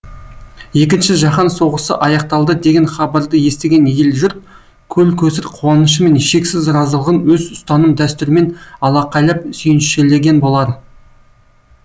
екінші жаһан соғысы аяқталды деген хабарды естіген ел жұрт көл көсір қуанышы мен шексіз разылығын өз ұстаным дәстүрімен алақайлап сүйіншілеген болар